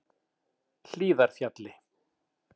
Hlíðarfjalli